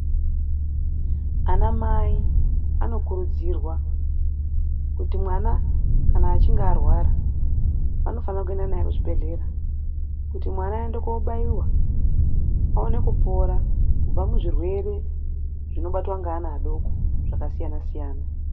Anamai anokurudzirwa kuti mwana kana achinge arwara vanofana kuenda naye kuchibhedhlera. Kuti mwana aende kobaiwa aone kupora kubva muzvirwere zvinobatwa ngeana adoko zvakasiyana -siyana.